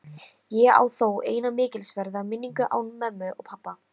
Ég á þó eina mikilsverða minningu án mömmu og pabba.